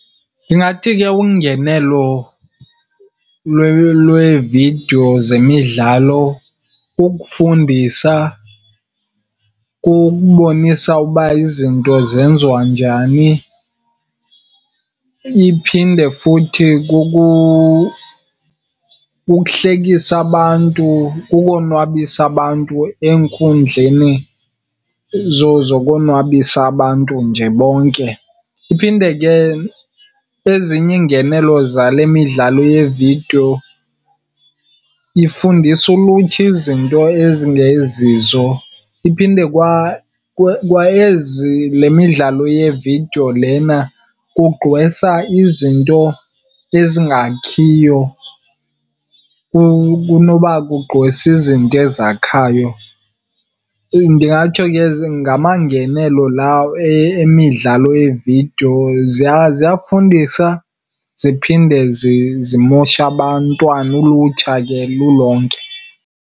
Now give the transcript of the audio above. Ndingathi ke ungenelo lweevidiyo zemidlalo kukufundisa, kukubonisa uba izinto zenziwa njani. Iphinde futhi kukuhlekisa abantu, kukonwabisa abantu enkundleni zokonwabisa abantu nje bonke. Iphinde ke ezinye iingenelo zale midlalo yevidiyo ifundisa ulutsha izinto ezingezizo. Iphinde kwa ezi, le midlalo yeevidiyo lena kugqwesa izinto ezingakhiyo kunoba kugqwese izinto ezakhayo. Ndingatsho ke ngamangenelo lawo emidlalo yeevidiyo, ziyafundisa ziphinde zimoshe abantwana ulutsha ke lulonke.